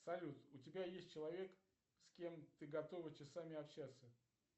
салют у тебя есть человек с кем ты готова часами общаться